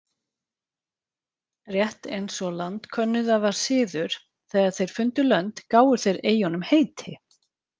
Rétt eins og landkönnuða var siður þegar þeir fundu lönd gáfu þeir eyjunum heiti.